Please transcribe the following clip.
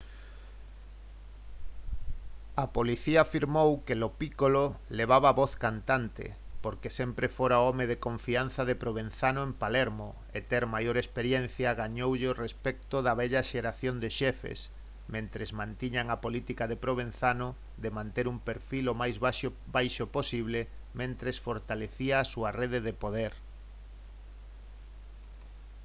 a policía afirmou que lo piccolo levaba a voz cantante porque sempre fora o home de confianza de provenzano en palermo e ter maior experiencia gañoulle o respecto da vella xeración de xefes mentres mantiñan a política de provenzano de manter un perfil o máis baixo posible mentres fortalecía a súa rede de poder